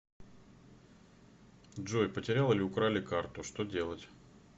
джой потерял или украли карту что делать